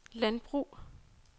landbrug